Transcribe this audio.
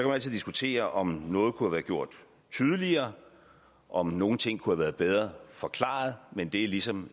altid diskutere om noget kunne være gjort tydeligere om nogle ting kunne have været bedre forklaret men det er ligesom